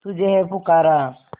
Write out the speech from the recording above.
तुझे है पुकारा